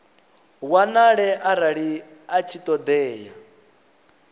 wanale arali a tshi ṱoḓea